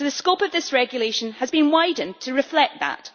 So the scope of this regulation has been widened to reflect that.